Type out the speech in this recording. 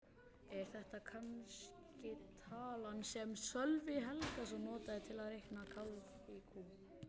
Er þetta kannske talan sem Sölvi Helgason notaði til að reikna kálf í kú?